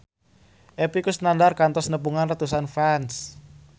Epy Kusnandar kantos nepungan ratusan fans